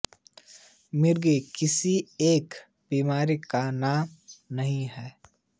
मिर्गी किसी एक बीमारी का नाम नहीं है